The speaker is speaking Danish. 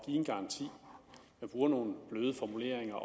en garanti men bruger nogle bløde formuleringer